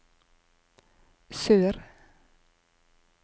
sør